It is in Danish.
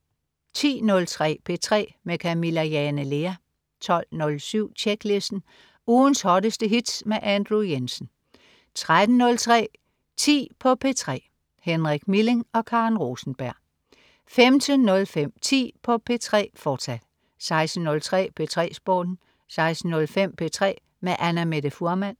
10.03 P3 med Camilla Jane Lea 12.07 Tjeklisten. Ugens hotteste hits med Andrew Jensen 13.03 10 på P3. Henrik Milling og Karen Rosenberg 15.05 10 på P3, fortsat 16.03 P3 Sporten 16.05 P3 med Annamette Fuhrmann